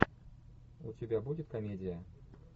у тебя будет комедия